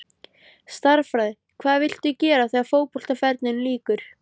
Stærðfræði Hvað viltu gera þegar að fótboltaferlinum lýkur?